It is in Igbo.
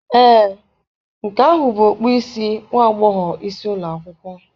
Ee, nke ahụ bụ okpu isi nwa agbọghọ isi ụlọ akwụkwọ.